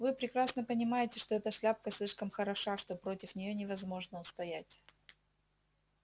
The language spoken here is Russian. вы прекрасно понимаете что эта шляпка слишком хороша что против нее невозможно устоять